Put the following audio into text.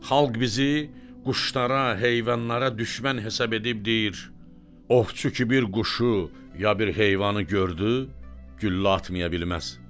Xalq bizi quşlara, heyvanlara düşmən hesab edib deyir: "Ovçu ki bir quşu, ya bir heyvanı gördü, güllə atmaya bilməz."